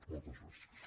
moltes gràcies